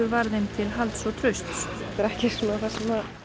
var þeim til halds og trausts þetta er ekki það sem